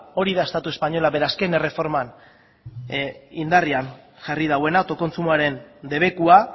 hori da estatu espainola bere azken erreforman indarrean jarri duena autokontsumoaren debekua